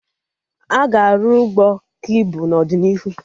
Aga arụ Ụgbọ ka ibu n'ọdịnihu